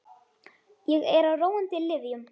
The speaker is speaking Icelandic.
Ég er á róandi lyfjum.